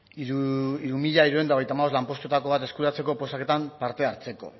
hiru mila hirurehun eta hogeita hamabost lanpostuetako bat eskuratzeko oposaketan parte hartzeko